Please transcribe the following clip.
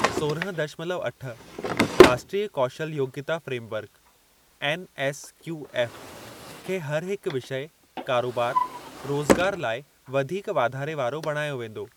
सोरहं दशमलव अठ 'राष्ट्रीय कौशल योग्यता फ्रेमवर्क' (एनएसक्यूएफ़) खे हर हिक विषय कारोबार, रोज़गार लाइ वधीक वाधारे वारो बणायो वेंदो।